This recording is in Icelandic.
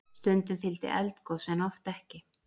Stundum fylgdi eldgos en oft ekki.